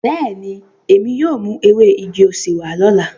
Beeni, emi yóò mu ewe igi osè wa lola.